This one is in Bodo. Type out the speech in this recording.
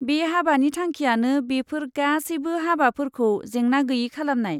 बे हाबानि थांखियानो बेफोर गासैबो हाबाफोरखौ जेंना गैयै खालामनाय।